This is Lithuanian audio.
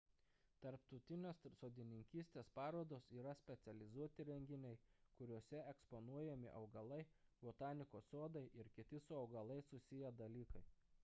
tarptautinės sodininkystės parodos yra specializuoti renginiai kuriuose eksponuojami augalai botanikos sodai ir kiti su augalais susiję dalykai